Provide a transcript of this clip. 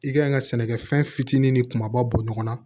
I ka ɲi ka sɛnɛkɛ fɛn fitinin ni kumaba bɔ ɲɔgɔn na